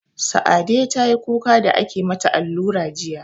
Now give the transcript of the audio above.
Sa'ade tayi kuka da ake mata allura jiya